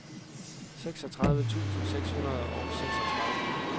seksogtredive tusind seks hundrede og seksogtredive